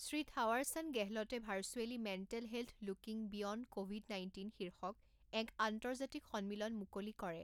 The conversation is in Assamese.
শ্ৰী থাৱাৰ চান্দ গেহলটে virtually mental health looking beyond Covid nineteen শীৰ্ষক এক আন্তৰ্জাতিক সন্মিলন মুকলি কৰে